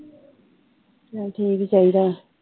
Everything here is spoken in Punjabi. ਚਲ ਠੀਕ ਈ ਚਾਹੀਦਾ ਆ